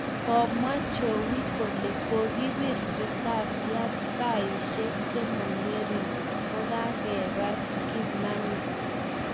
Komwaa jowie kole kokibir risasyaat saaisiek chemang'ering' kokagebar Kimani